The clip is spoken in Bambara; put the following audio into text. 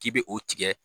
K'i bɛ o tigɛ